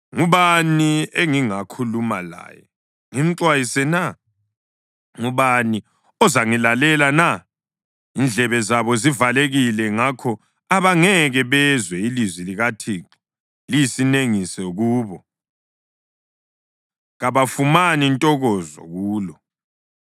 Ngubani engingakhuluma laye ngimxwayise na? Ngubani ozangilalela na? Indlebe zabo zivalekile + 6.10 NgesiHebheru kutsho ukuthi abasokwanga ngakho abangeke bezwe. Ilizwi likaThixo liyisinengiso kubo. Kabafumani ntokozo kulo.